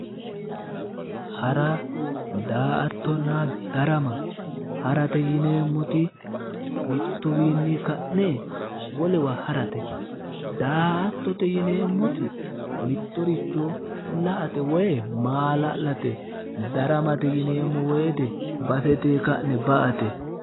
hara daa''attonna darama harate yineemmoti mittuwiinni ka'ne wolewa harate daa''attote yineemmoti mittoricho la'ate woyi maa'la'late daramate yineemmo wote basetenni ka'ne ba'ate.